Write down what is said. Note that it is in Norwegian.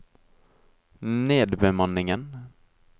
nedbemanningen